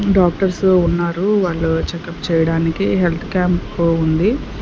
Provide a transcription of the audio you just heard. Doctors ఉన్నారు వాళ్ళు checkup చేయడానికి హెల్త్ క్యాంప్ ఉంది.